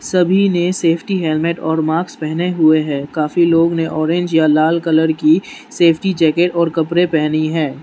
सभी ने safety helmet और माक्स पहने हुए है काफी लोग ने ऑरेंज या लाल कलर की सेफ्टी जैकेट और कपरे पहनी है।